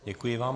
Děkuji vám.